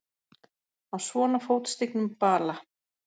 Á svona fótstignum bala!